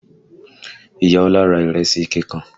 Ìyá Ọlá ra ìrèsì ike kan